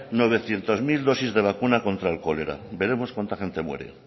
novecientos mil dosis de vacuna contra el cólera veremos cuánta gente muere